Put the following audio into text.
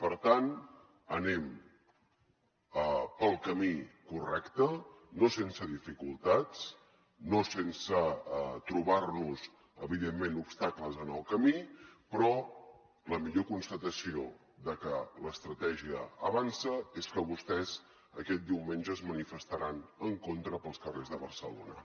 per tant anem pel camí correcte no sense dificultats no sense trobar nos evidentment obstacles en el camí però la millor constatació de que l’estratègia avança és que vostès aquest diumenge es manifestaran en contra pels carrers de barcelona